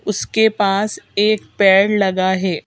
उसके पास एक पैड लगा है।